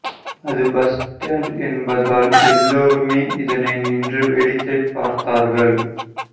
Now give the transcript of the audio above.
அது bus stand என்பதால் எல்லோருமே இதனை நின்று வேடிக்கை பார்த்தார்கள்